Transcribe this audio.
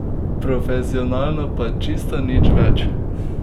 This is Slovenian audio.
Profesionalno, pa čisto nič več!